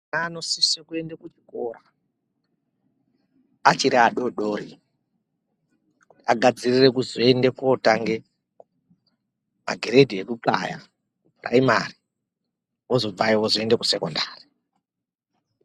...anosise kuende kuchikora achiri adoodori kuti agadzirire kuzoende kootanga magiredhi ekuxaya kupuraimari. Ozobvayo ozoende kusekondari.